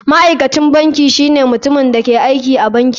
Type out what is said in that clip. Ma'aikacin banki shine mutumin da ke aiki a banki.